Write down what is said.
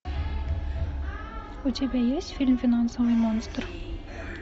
у тебя есть фильм финансовый монстр